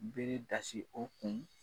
Bere dasi o kun.